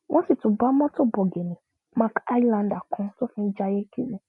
wọ́n sì tún bá mọtò bọgìnnì mark highlander kan tó fi ń jayé kiri